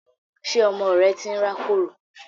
Ṣé ọmọ rẹ tí ń rákòrò?